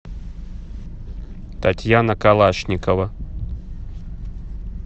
татьяна калашникова